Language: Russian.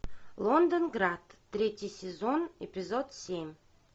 лондонград третий сезон эпизод семь